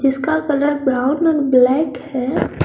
इसका colour brown और black है।